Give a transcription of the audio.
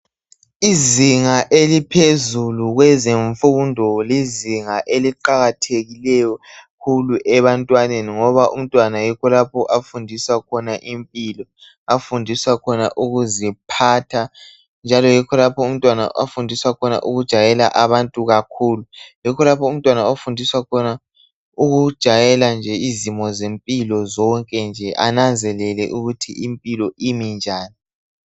Izinga eliphezulu kwezemfundo lizinga eziqakathekileyo kakhulu ebantwaneni ngoba umntwana yikho lapho afundiswa khona impilo, afundiswa khona ukuziphatha, njalo yikho lapho umntwana afundiswa khona ukujwayela abantu kakhulu. Yikho lapho umntwana afundiswa khona ukujayela izimo zempilo zonke nje ananzelele ukuthi impilo imi njani.